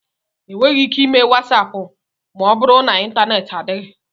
Enweghị ike ime WatsAapụ ma ọ bụrụ na ịntaneti adịghị.